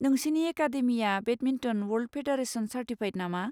नोंसिनि एकाडेमिया badminton world federation certified नामा?